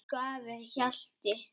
Elsku afi Hjalti.